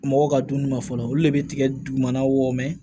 Mɔgɔw ka dumuni ma fɔlɔ olu de bɛ tigɛ dugumanaw mɛn